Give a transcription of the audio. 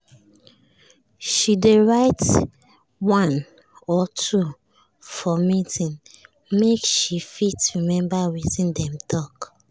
she dey write one or or two for meeting make she fit remeber wetin dem talk.